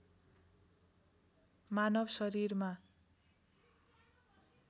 मानव शरीरमा